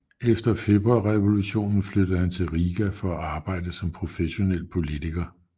Efter Februarrevolutionen flyttede han til Riga for at arbejde som professionel politiker